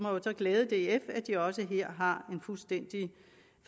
så glæde df at de også her har en fuldstændig